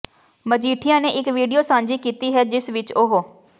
ਮਜੀਠੀਆ ਨੇ ਇਕ ਵੀਡੀਓ ਸਾਂਝੀ ਕੀਤੀ ਹੈ ਜਿਸ ਵਿਚ ਉਹ